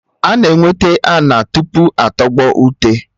Ana enweta ana tupu atọgbọ ute